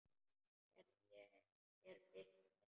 Gerði ég þér bylt við?